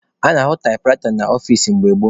A na-ahụ taịpụraịta n'ọfici mgbe gboo.